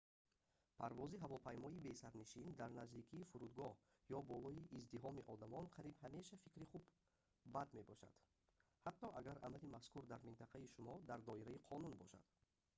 парвози ҳавопаймои бесарнишин дар наздикии фурудгоҳ ё болои издиҳоми одамон қариб ҳамеша фикри хуб бад мебошад ҳатто агар амали мазкур дар минтақаи шумо дар доираи қонун бошад